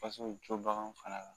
fana la